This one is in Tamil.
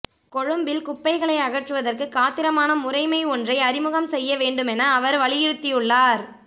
கொழும்பில் குப்பைகளை அகற்றுவதற்கு காத்திரமான முறைமை ஒன்றை அறிமுகம் செய்ய வேண்டுமென அவர் வலியுறுத்தியுள்ளார்